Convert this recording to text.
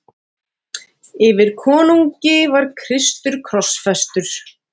Yfir konungi var Kristur krossfestur.